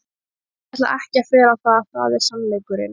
Ég ætla ekki að fela það, það er sannleikurinn.